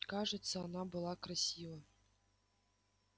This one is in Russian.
кажется она была красива